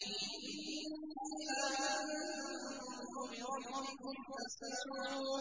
إِنِّي آمَنتُ بِرَبِّكُمْ فَاسْمَعُونِ